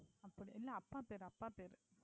அப்படி இல்லை அப்பா பெயர் அப்பா பெயர்.